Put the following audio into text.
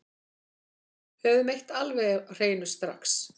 Höfum eitt alveg á hreinu strax